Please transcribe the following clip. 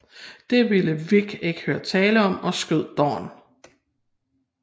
Det vil Vic ikke høre tale om og skyder Don